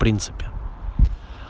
в принципе